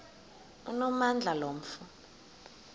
onamandla lo mfo